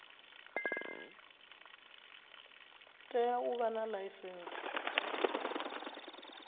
tea u vha na ḽaisentsi